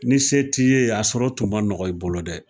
Ni se t'i ye a sɔrɔ tun ma nɔgɔn i bolo dɛ